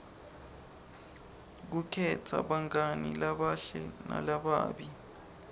kukhetsa bangani labahle nalababi